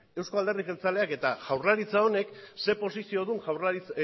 euzko alderdi jeltzaleak eta jaurlaritza honek zein posizio duen